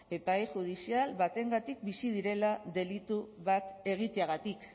epai judizial batengatik bizi direla delitu bat egiteagatik